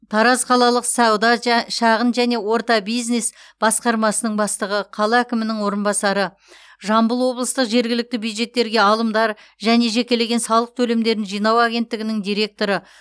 тараз қалалық сауда жа шағын және орта бизнес басқармасының бастығы қала әкімінің орынбасары жамбыл облыстық жергілікті бюджеттерге алымдар және жекелеген салық төлемдерін жинау агенттігінің директоры